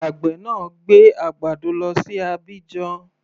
Àgbè náà gbé àgbàdo lọ sí Abidjan.